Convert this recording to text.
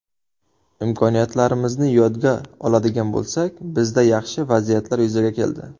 Imkoniyatlarimizni yodga oladigan bo‘lsak, bizda yaxshi vaziyatlar yuzaga keldi.